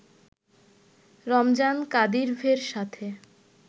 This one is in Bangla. রমজান কাদিরভের সাথে